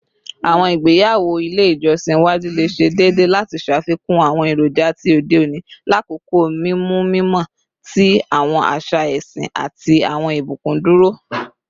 Awọn igbeyawo ile ijọsin iwaju le ṣe deede lati ṣafikun awọn eroja ti ode oni lakoko mimu mimọ ti awọn aṣa ẹsin ati awọn ibukun duro